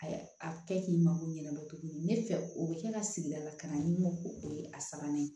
A a kɛ k'i mago ɲɛnama ne fɛ o bɛ kɛ ka sigida lakananin ko o ye a sabanan ye